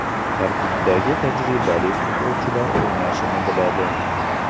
Tarkibdagi tajribali futbolchilar o‘ynashni biladi.